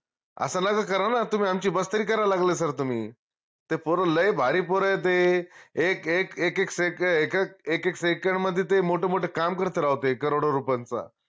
अस नका करा ना तुम्ही आमची मस्करी कराला लागले sir तुम्ही ते पोर लय भारी पोर ए ते एक एक एक एक second एक एक एक एक second मध्ये ते मोठं मोठं काम करते राव ते crore डो रुपयांचा